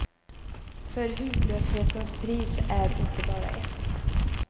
För hudlöshetens pris är inte bara ett.